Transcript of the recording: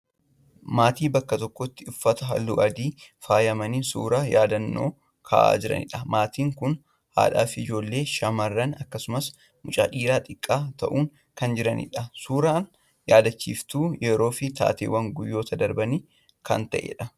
Maatii bakka tokkotti uffata halluu adiin faayamanii suuraa yaadannoo ka'aa jiran. Maatiin kun haadhaa fi ijoollee shamarranii akkasumas mucaa dhiiraa xiqqaa ta'uun kan jiranidha. Suuraan yaadachiiftuu yeroo fi taatee guyyoota darbanii kan ta'edha.